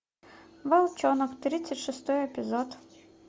волчонок тридцать шестой эпизод